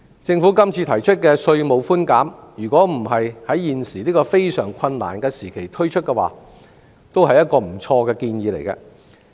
政府今次提出的稅務寬免，若不是在現時這個非常困難的時期推出，也是一個不錯的建議。